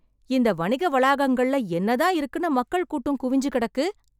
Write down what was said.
இந்த வணிக வளாகங்கள்ல என்ன தான் இருக்குன்னு மக்கள் கூட்டம் குவிஞ்சு கிடக்கு.